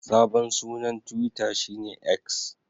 Sabon sunan Twita shi ne X.